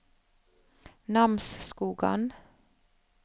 Namsskogan